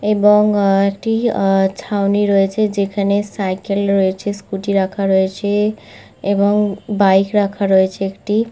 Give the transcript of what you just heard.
এবং আহ একটি আহ আর ছাউনি রয়েছে যেখানে সাইকেল রয়েছে স্কুটি রাখা রয়েছে এবং বাইক রাখা রয়েছে একটি।